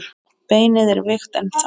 Beinið er veikt ennþá.